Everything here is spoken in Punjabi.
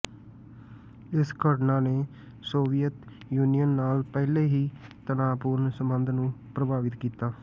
ਇਸ ਘਟਨਾ ਨੇ ਸੋਵੀਅਤ ਯੂਨੀਅਨ ਨਾਲ ਪਹਿਲਾਂ ਹੀ ਤਣਾਅਪੂਰਨ ਸੰਬੰਧ ਨੂੰ ਪ੍ਰਭਾਵਿਤ ਕੀਤਾ